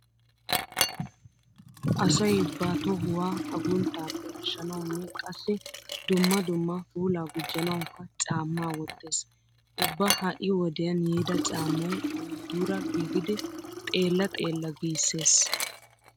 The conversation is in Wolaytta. Asay ba tohuwa agunttaappe ashshanawunne qassi dumma dumma puulaa gujjanawukka caammaa wottees. Ubba ha"i wodiyan yiida caammay ayootuura giigidi xeella xeella giissees.